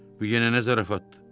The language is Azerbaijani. Bu yenə nə zarafatdır?